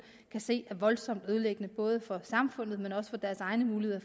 kan se er voldsomt ødelæggende både for samfundet men også for deres egne muligheder